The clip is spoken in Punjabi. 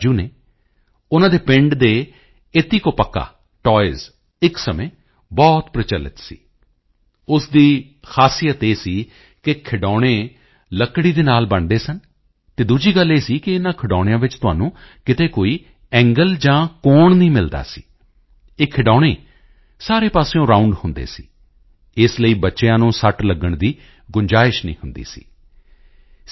ਰਾਜੂ ਹਨ ਉਨ੍ਹਾਂ ਦੇ ਪਿੰਡ ਦੇ ਏਤਿਕੋਪੱਕਾ ਟਾਇਜ਼ ਇੱਕ ਸਮੇਂ ਬਹੁਤ ਪ੍ਰਚਲਿਤ ਸੀ ਉਸ ਦੀ ਖਾਸੀਅਤ ਇਹ ਸੀ ਕਿ ਖਿਡੌਣੇ ਲੱਕੜੀ ਦੇ ਨਾਲ ਬਣਦੇ ਸਨ ਅਤੇ ਦੂਜੀ ਗੱਲ ਇਹ ਸੀ ਕਿ ਇਨ੍ਹਾਂ ਖਿਡੌਣਿਆਂ ਵਿੱਚ ਤੁਹਾਨੂੰ ਕਿਧਰੇ ਕੋਈ ਐਂਗਲ ਜਾਂ ਕੋਣ ਨਹੀਂ ਮਿਲਦਾ ਸੀ ਇਹ ਖਿਡੌਣੇ ਸਾਰੇ ਪਾਸਿਓਂ ਰਾਉਂਡ ਹੁੰਦੇ ਸੀ ਇਸ ਲਈ ਬੱਚਿਆਂ ਨੂੰ ਸੱਟ ਲੱਗਣ ਦੀ ਗੁੰਜਾਇਸ਼ ਨਹੀਂ ਹੁੰਦੀ ਸੀ ਸੀ